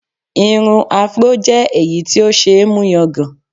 Irun Afro jẹ́ èyí tí ó ṣe é mú yangàn